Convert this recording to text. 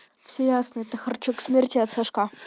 все ясно это харчук смерти от сашка